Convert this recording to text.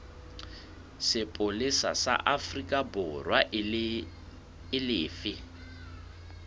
sepolesa sa aforikaborwa e lefe